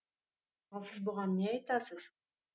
ал сіз бұған не айтасыз